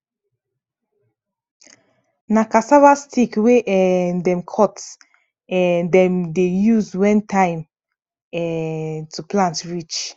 na cassava stick wey um dem cut um dem dey use when time um to plant reach